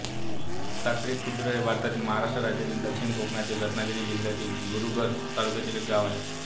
साखरी खुर्द हे भारतातील महाराष्ट्र राज्यातील दक्षिण कोकणातील रत्नागिरी जिल्ह्यातील गुहागर तालुक्यातील एक गाव आहे